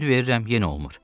Öyüd verirəm yenə olmur.